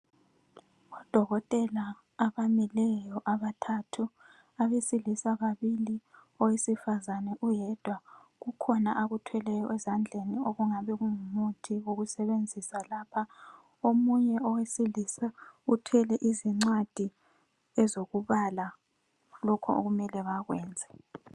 Odokotela abamileyo abathathu, abesilisa babili owesifazana uyedwa. Kukhona akuthweleyo ezandleni okungabe kungumuthi wokusebenzisa lapha. Omunye owesilisa uthwele izincwadi ezokubala lokho okumele bakwenze.